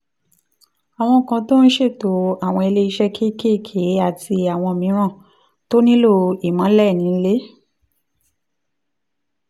àwọn kan tó ń ṣètò àwọn ilé iṣẹ́ kéékèèké àti àwọn mìíràn tó nílò ìmọ́lẹ̀ nílé